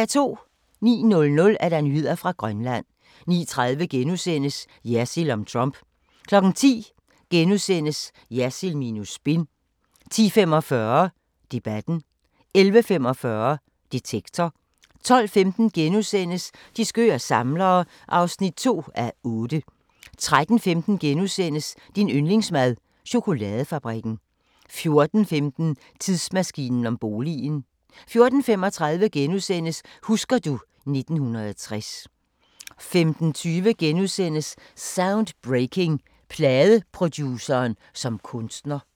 09:00: Nyheder fra Grønland 09:30: Jersild om Trump * 10:00: Jersild minus spin * 10:45: Debatten * 11:45: Detektor * 12:15: De skøre samlere (2:8)* 13:15: Din yndlingsmad: Chokoladefabrikken * 14:15: Tidsmaskinen om boligen 14:35: Husker du ... 1960 * 15:20: Soundbreaking – Pladeproduceren som kunstner *